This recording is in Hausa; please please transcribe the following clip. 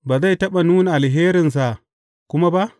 Ba zai taɓa nuna alherinsa kuma ba?